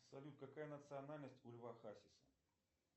салют какая национальность у льва хасиса